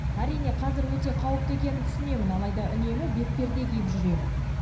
әрине қазір өте қауіпті екенін түсінемін алайда үнемі бетперде киіп жүремін